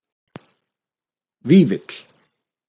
Vífill